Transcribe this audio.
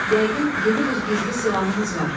Yəqin, yeni bir gizli silahınız var.